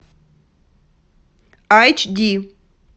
айч ди